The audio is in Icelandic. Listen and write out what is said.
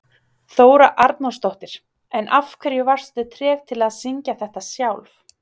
Þóra Arnórsdóttir: En af hverju varstu treg til að syngja þetta sjálf?